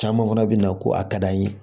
Caman fana bɛ na ko a ka d'an ye